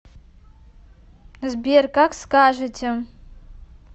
сбер как скажете